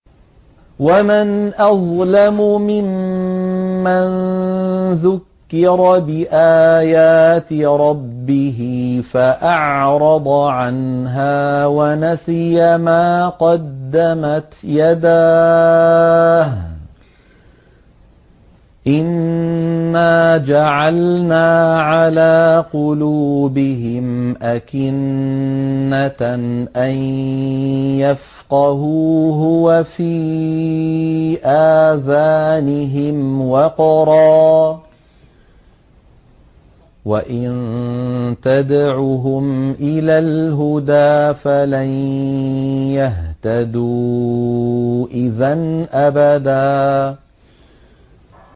وَمَنْ أَظْلَمُ مِمَّن ذُكِّرَ بِآيَاتِ رَبِّهِ فَأَعْرَضَ عَنْهَا وَنَسِيَ مَا قَدَّمَتْ يَدَاهُ ۚ إِنَّا جَعَلْنَا عَلَىٰ قُلُوبِهِمْ أَكِنَّةً أَن يَفْقَهُوهُ وَفِي آذَانِهِمْ وَقْرًا ۖ وَإِن تَدْعُهُمْ إِلَى الْهُدَىٰ فَلَن يَهْتَدُوا إِذًا أَبَدًا